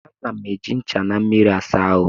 Ana m eji ncha na mmiri asa ahụ